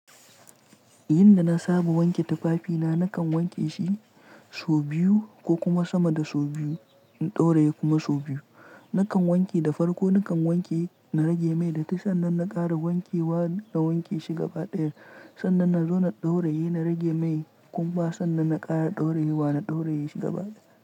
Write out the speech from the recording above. Yanda na saba wanke tufafina nakan wanke shi sau biyu ko kuma sama da sau biyu in ɗauraye kuma sau biyu. Nakan wanke da farko nakan wanke na rage mai da ta sannan na ƙara wanke wa na wanke shi gaba ɗaya sannan na zo na ɗauraye na rage mai kuma sannan na ƙara ɗauraye wa na ɗauraye shi gaba ɗaya.